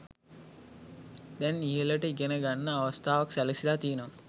දැන් ඉහළට ඉගෙනගන්න අවස්ථාව සැලසිලා තියෙනවා.